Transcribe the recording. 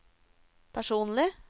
personlig